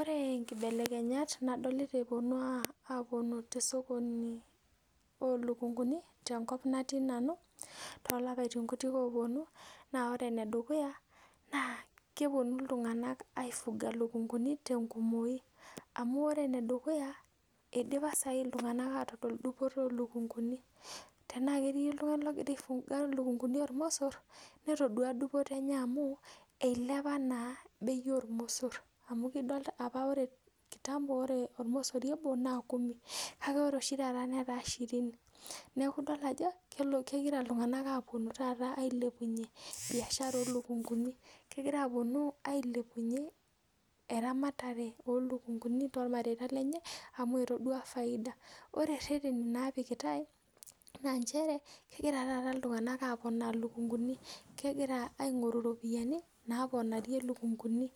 oree inkibelekenyat ndolita eeponu aaku te sokoni oo lukunguni tenkop naati nanu too lapaitin kutii oponu naa ore ene dukuya naa keponu iltunganak aifuga ilukunguni tenkumoyu amu ore ene dukuya eidipa saai iltunganak atodol dupoto oo lukunguni tenaa ketii oltungani logira aifuga ilukunguni ormosor netodua dupoto enye amu eilepa naa beii oormosor amuu ore apa ore ormosori obo naa kumi kake ore oshii taata netaa shirini neeku idolita ajo kegira iktunganak aponu taata ailepunye biashara oo lukunguni , kegiraa aponu ailepunye eramatare oo lukunguni toolmareta lenye amu etadua faida ore reteni naapikitai naa nchere kegira taata iltunganak aponaa lukunguni kegira aingoru ropiyani naaponarie lukunguni